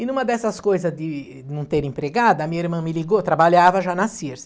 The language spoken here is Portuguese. E numa dessas coisas de não ter empregada, a minha irmã me ligou, trabalhava já nas Sears.